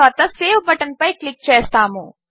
తరువాత సేవ్ బటన్పై క్లిక్ చేస్తాము